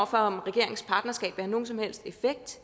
for om regeringens partnerskab vil have nogen som helst effekt